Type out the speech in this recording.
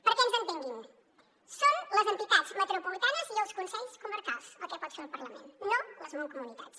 perquè ens entenguin són les entitats metropolitanes i els consells comarcals el que pot fer el parlament no les mancomunitats